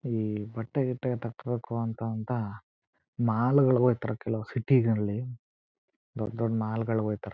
ಈ ಬಟ್ಟೆ ಗಿಟ್ಟೆ ತಕೋಳಂತ ಅಂತ ಮಾಲ್ ಗಳಿಗೆ ಹೊಯೈತ್ತರೆ ಕೆಲ್ವ್ ಸಿಟಿಗಳಲ್ಲಿ ದೊಡ್ಡ ದೊಡ್ಡ ಮಾಲ್ ಗಳಲ್ಲಿ ಹೊಯೈತ್ತರೆ.